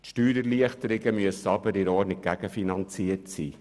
Steuererleichterungen müssen aber ordnungsgemäss gegenfinanziert sein.